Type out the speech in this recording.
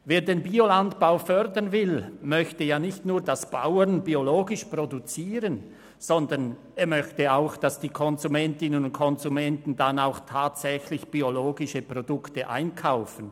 Wer den Biolandbau fördern will, möchte ja nicht nur, dass Bauern biologisch produzieren, sondern er möchte auch, dass die Konsumentinnen und Konsumenten tatsächlich biologische Produkte einkaufen.